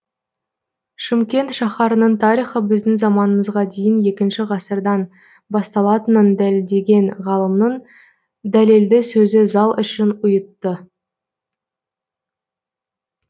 шымкент шаһарының тарихы біздің заманымызға дейін екінші ғасырдан баталатынын дәлелдеген ғалымның дәлелді сөзі зал ішін ұйытты